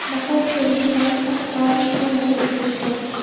Bahor kelishi bilan hamma ozish harakatiga tushadi.